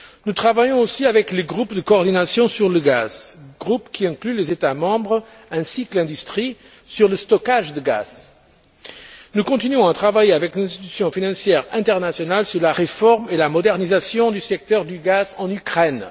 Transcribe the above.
Nous travaillons aussi avec le groupe de coordination pour le gaz groupe qui inclut les États membres ainsi que l'industrie sur le stockage du gaz. Nous continuons à travailler avec les institutions financières internationales sur la réforme et la modernisation du secteur du gaz en Ukraine.